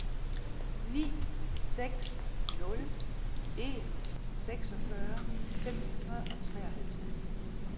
ni seks nul en seksogfyrre fem hundrede og treoghalvtreds